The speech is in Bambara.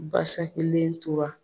Basakilen tora.